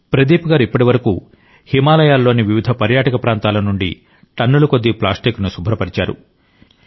ప్రదీప్ గారు ఇప్పటివరకు హిమాలయాలలోని వివిధ పర్యాటక ప్రాంతాల నుండి టన్నుల కొద్ది ప్లాస్టిక్ను శుభ్రపరిచారు